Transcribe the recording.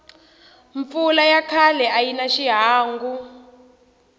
mpfula ya khale ayina hi xihangu